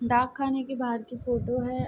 डाकखाने के बाहार की फोटो है।